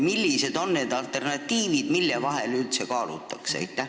Millised on need alternatiivid, mille vahel üldse kaalutakse?